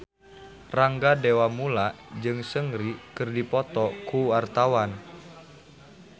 Rangga Dewamoela jeung Seungri keur dipoto ku wartawan